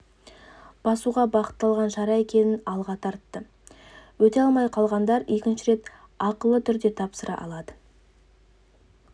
басуға бағытталған шара екенін алға тартты өте алмай қалғандар екінші рет ақылы түрде тапсыра алады